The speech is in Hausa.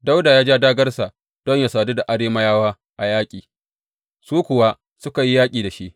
Dawuda ya ja dāgārsa don yă sadu da Arameyawa a yaƙi, su kuwa suka yi yaƙi da shi.